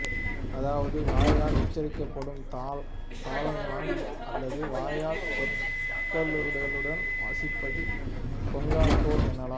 அதாவது வாயால் உச்சரிக்கப்படும் தாளலயம் அல்லது வாயால் சொற்கட்டுகளுடன் வாசிப்பது கொன்னக்கோல் எனலாம்